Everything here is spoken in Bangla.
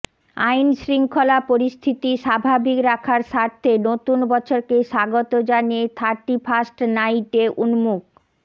আইনশৃঙ্খলা পরিস্থিতি স্বাভাবিক রাখার স্বার্থে নতুন বছরকে স্বাগত জানিয়ে থার্টিফার্স্ট নাইটে উন্মুক